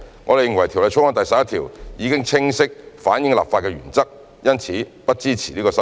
我們認為《條例草案》第11條已能清晰反映立法原則，因此不支持這項修正案。